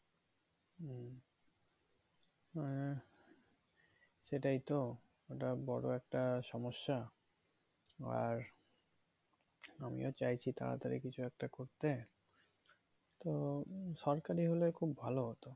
আহ সেটাই তো এটা বড়ো একটা সমস্যা আর আমিও চাইছি তাড়াতাড়ি কিছু একটা করতে তো সরকারি হলে খুব ভালো হতো